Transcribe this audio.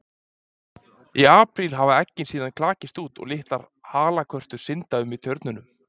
Í apríl hafa eggin síðan klakist út og litlar halakörtur synda um í tjörnum.